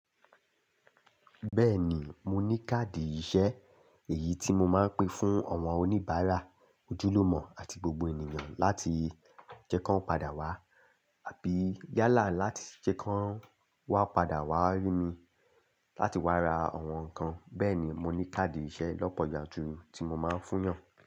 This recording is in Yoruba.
Bẹ́ẹ̀ni, mo ní káàdì ìṣe èyí tí mo máa ń pín fún àwọn oníbàárà ojúlùmọ̀ àti gbogbo ènìyàn láti jẹ́ kan padà wá àbí yálà láti jẹ́ kan wá padà wá rí mi láti wá ra àwọn nǹkan. Bẹ́ẹ̀ni mo ní káàdì ìṣe lọ́pọ̀ yanturu tí mo máa ń fún yàn.